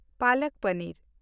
palak paneer